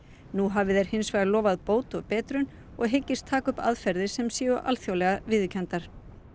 nú hafi þeir hins vegar lofað bót og betrun og hyggist taka upp aðferðir sem séu alþjóðlega viðurkenndar